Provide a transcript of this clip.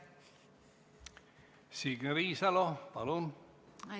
Signe Riisalo, palun!